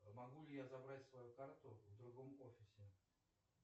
могу ли я забрать свою карту в другом офисе